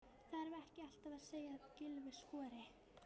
Þarf ekki alltaf að segja að Gylfi skori?